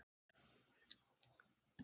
Það var ákveðið fyrir löngu.